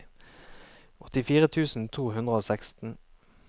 åttifire tusen to hundre og seksten